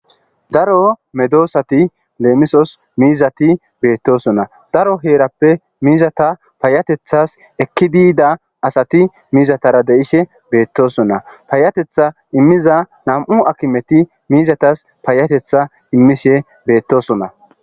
Daro medosati leemisos miizati beettosona. Daro heerappe miizata payyateththas ekkidi yida asati miizatara de'ishe beettosona. Payyateththa immiza nami'u akimeti miizatas payyateththa immishe beettosona.